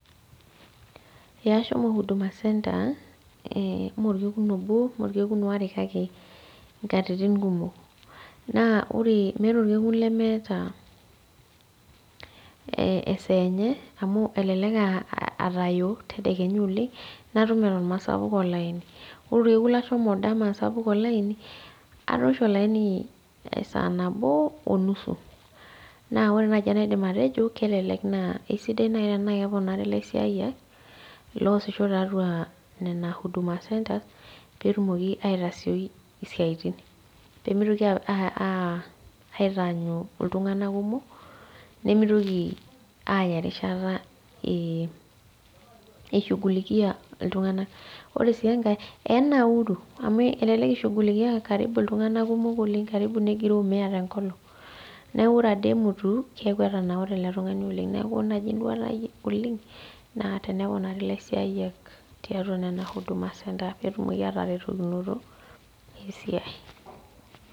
Ee ashomo huduma center meokekun obo meokekun aare kake inkatitin kumok. Naa ore meeta olkekun lemeeta esaa enye amu elelek aa atayo tedekenya oleng' natum eton mesapuk olaini, ore olkekun lashomo dama sapuk olaini, atoosho olaini saa nabo onusu naa ore naai enaidim atejo naa kelelek naa aisidai naai tenaa keponari ilasiayiak loasisho tiatua nena Huduma centers peetumoki aitasioi isiatin, peetoki aitaanyu iltunganak kumok nimitoki aaya erishata oleng' eishugulikia iltunganak. Ore sii enkae eya ninauru amu elelek ishugulikiyai karibu iltunganak kumok karibu negiroo mia tenkolong'. Neeku ore ade emutu keeku etanaure ele tungani oleng',neeku ore naai enduaata ai oleng' naa teneponari ilasiayiak tiatua ina huduma center peetumoki ataretokinoto esiai.